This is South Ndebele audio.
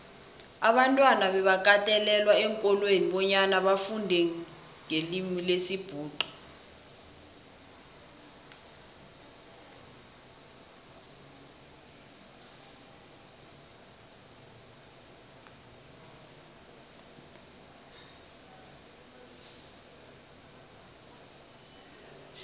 abantwana bebakatelelwa eenkolweni bonyana bafundenqelimilesibhuxu